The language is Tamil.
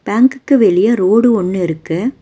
பேங்குக்கு வெளிய ரோடு ஒன்னு இருக்கு.